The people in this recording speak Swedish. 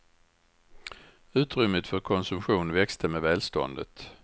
Utrymmet för konsumtion växte med välståndet.